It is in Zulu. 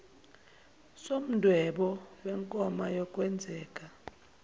somdwebo wenkomba yokwenzeka